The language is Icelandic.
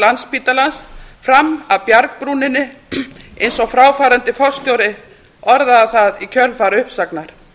landspítalans fram af bjargbrúninni eins og fráfarandi forstjóri orðaði það í kjölfar uppsagnar